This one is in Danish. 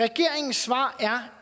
regeringens svar er